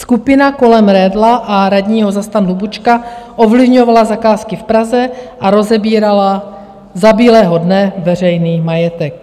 Skupina kolem Redla a radního za STAN Hlubučka ovlivňovala zakázky v Praze a rozebírala za bílého dne veřejný majetek.